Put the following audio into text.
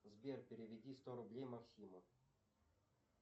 сбер переведи сто рублей максиму